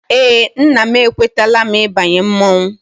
Eé, nna m ekwetala m ịbanye mmọnwụ.